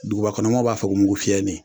Dugubakɔnɔmɔɔw b'a fɔ ko mugufiyɛnin